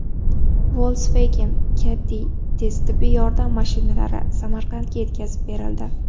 Volkswagen Caddy tez tibbiy yordam mashinalari Samarqandga yetkazib berildi .